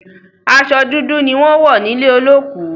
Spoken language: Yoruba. Aso dúdú ni wón n wò nílé olókù.